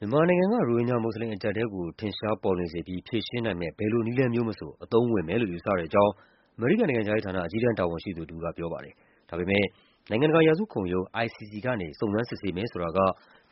မြန်မာနိုင်ငံက ရိုဟင်ဂျာမွတ်ဆလင် အကျပ်အတည်းကို ထင်ရှားပေါ်လွင်စေပြီး ဖြေရှင်းနိုင်မယ့် ဘယ်လိုနည်းလမ်းမျိုးမဆို အသုံးဝင်မယ်လို့ ယူဆတဲ့အကြောင်း အမေရိကန်နိုင်ငံခြားရေးဌာန၊ အကြီးတန်းတာဝန်ရှိသူတဦးက ပြောပါတယ်။ ဒါပေမယ့် နိုင်ငံတကာ ရာဇဝတ်ခုံရုံး (ICC) ကနေ စုံစမ်းစစ်ဆေးမယ်ဆိုတာက